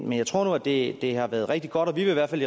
men jeg tror nu at det har været rigtig godt vi vil i hvert fald